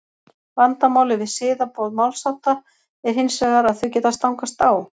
Vandamálið við siðaboð málshátta er hins vegar að þau geta stangast á.